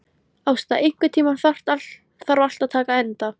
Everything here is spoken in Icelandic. Ásta, einhvern tímann þarf allt að taka enda.